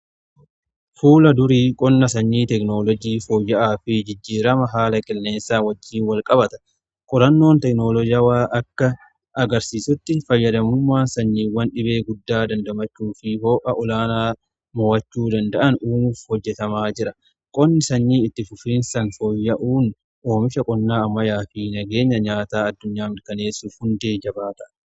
Fuula durii qonna sanyii tekinooloojii fooyya'aa fi jijjiirama haala qilleensaa wajjin wal qabata. Qorannoon teekinoloojiwwaan akka agarsiisutti fayyadamummaa sanyiiwwan dhibee guddaa dandamachuu fi ho'a olaanaa mo'achuu danda'an uumuuf hojjetamaa jira. Qonni sanyii itti fufiin san fooyya'uun oomisha qonnaa ammayyaa fi nageenya nyaataa addunyaa mirkaneessuuf hundee jabaadha.